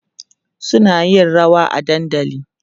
suna yin rawa a dandali